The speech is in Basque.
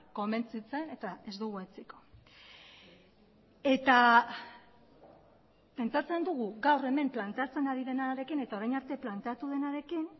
konbentzitzen eta ez dugu etziko eta pentsatzen dugu gaur hemen planteatzen ari denarekin eta orain arte planteatu denarekin